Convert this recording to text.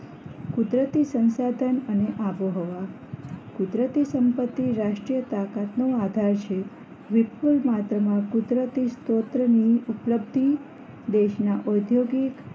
કુદરતી સંસાધન અને આબોહવા કુદરતી સંપતિ રાષ્ટ્રીયતાકત નો આધાર છે વિપુલ માત્રામાં કુદરતી સ્તોત્રની ઉપલબ્ધિ દેશના ઔદ્યોગિક